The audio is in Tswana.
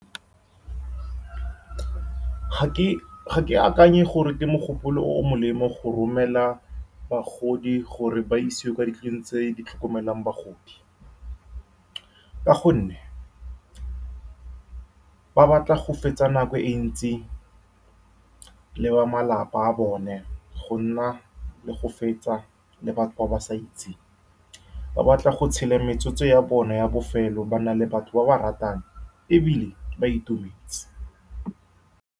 Ga ke, ga ke akanye gore ke mogopolo o o molemo go romela bagodi gore ba isiwe kwa dintlong tse di tlhokomelang bagodi, ka gonne ba batla go fetsa nako e ntsi le ba malapa a bone, go nna le go fetsa le batho ba ba sa itseng, ba batla go tshela metsotso ya bona ya bofelo ba na le batho ba baratang, ebile ba itumetse.